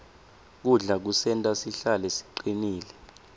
kudla kusenta sihlale sicinile